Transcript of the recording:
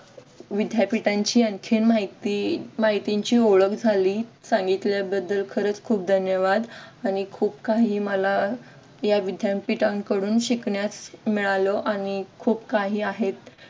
विद्यापीठांची आणखीन माहिती माहितीची ओळख झाली सांगितल्याबद्दल खरंच खूप धन्यवाद आणि खूप काही मला या विद्यापीठांकडून शिकण्यास मिळाल आणि खूप काही आहेत